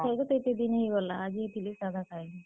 ଖାଇ, ଖାଇ ତ ଏତେ ଦିନ୍ ହେଇଗଲା ଆଜି ହେତିର୍ ଲାଗି ସାଧା ଖାଏଁଲୁଁ।